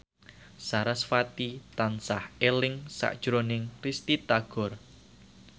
sarasvati tansah eling sakjroning Risty Tagor